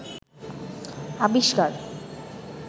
আবিষ্কার